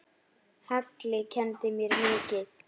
Halli kenndi mér mikið.